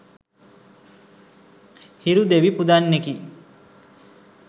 හිරු දෙවි පුදන්නෙකි.